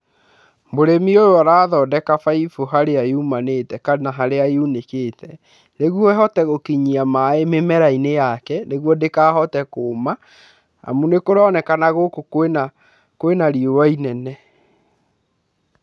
Mũrĩmi ũyũ arathondeka baibũ harĩa yumanĩte kana haria yunĩkĩte, nĩguo ĩhote gũkinyia maaĩ mĩmera-inĩ yake, nĩguo ndĩkahote kũma, amu nĩ kũronekana gũkũ kwĩ na riũa inene.